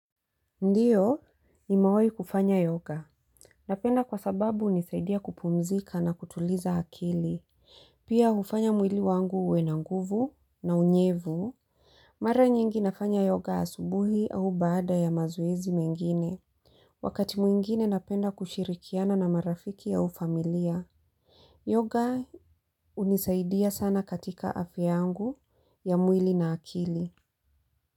Ndiyo, ni mewahi kufanya yoga. Napenda kwa sababu hunisaidia kupumzika na kutuliza hakili. Pia hufanya mwili wangu uwe na nguvu na unyevu. Mara nyingi nafanya yoga asubuhi au baada ya mazoezi mengine. Wakati mwingine napenda kushirikiana na marafiki ya ufamilia. Yoga hunisaidia sana katika afyangu ya mwili na akili.